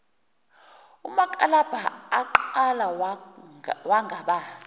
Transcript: umakalabha aqala wangabaza